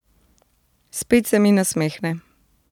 Spet se mi nasmehne.